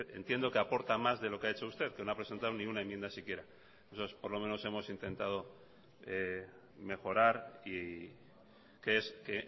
entiendo que aporta más de lo que ha hecho usted que no ha presentado ni una enmienda siquiera nosotros por lo menos hemos intentado mejorar y que es que